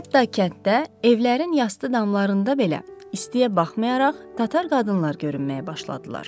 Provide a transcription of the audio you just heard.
Hətta kənddə evlərin yastı damlarında belə istiyə baxmayaraq, tatar qadınlar görünməyə başladılar.